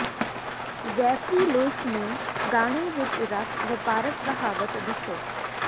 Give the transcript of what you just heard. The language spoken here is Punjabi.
ਜੈਫਰੀ ਲੂਇਸ ਨੂੰ ਗਾਣੇ ਵਿਚ ਰਫ ਵਪਾਰਕ ਕਹਾਵਤ ਦੱਸੋ